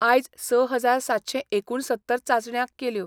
आयज स हजार सातशे एकूण सत्तर चाचण्या केल्यो.